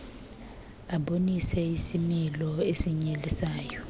abonise isimilo esinyelisayo